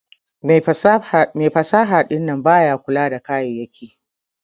Mai fasaha dinnan baya kula da kayayaki.